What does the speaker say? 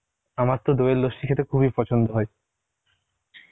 আমার তো দইয়ের লস্যি খেতে খুবই পছন্দ হয়